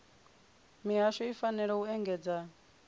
mihasho i fanela u engedzedza